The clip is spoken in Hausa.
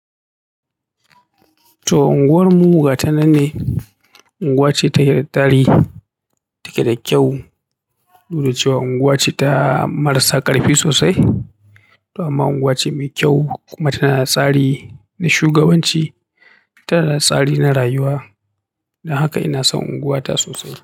To, unguwar mu gata nan de unguwa ce takeda tarihi take da kyau. Saboda cewa unguwa ce ta marasa ƙarfi sosai. To amma unguwa ce mai kyau kuma tana da tsari na shugabanci, tana da tsari na rayuwa. Don haka ina son unguwata sosai.